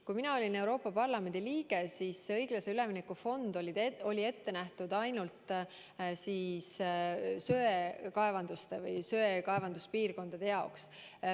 Kui mina olin Euroopa Parlamendi liige, siis õiglase ülemineku fond oli ette nähtud ainult söekaevanduspiirkondade jaoks.